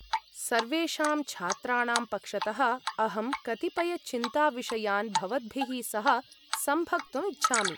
सर्वेषां छात्राणां पक्षतः, अहं कतिपयचिन्ताविषयान् भवद्भिः सह संभक्तुम् इच्छामि ।